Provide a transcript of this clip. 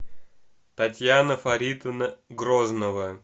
татьяна фаритовна грознова